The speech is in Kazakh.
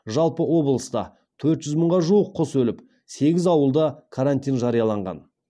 жалпы облыста төрт жүз мыңға жуық құс өліп сегіз ауылда карантин жарияланған